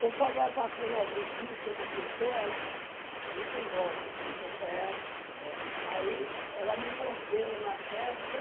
Conforme vai passando algum bicho ou uma pessoa, ela fica em volta e fica... É, é. Aí ela me mordeu na testa.